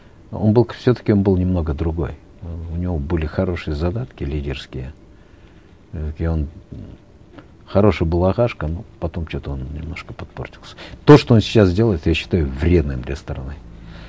он был все таки он был немного другой у него были хорошие задатки лидерские э и он хороший был ағашка но потом что то он немножко подпортился то что он сейчас делает я считаю вредным для страны